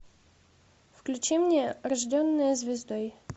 включи мне рожденная звездой